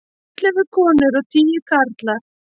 Ellefu konur og tíu karlar.